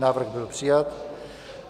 Návrh byl přijat.